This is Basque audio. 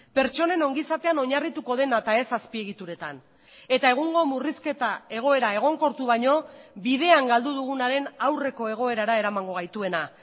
pertsonen ongizatean oinarrituko dena eta ez azpiegituretan eta egungo murrizketa egoera egonkortu baino bidean galdu dugunaren aurreko egoerara eramango gaituena